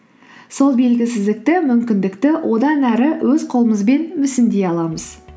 сол белгісіздікті мүмкіндікті одан ары өз қолымызбен мүсіндей аламыз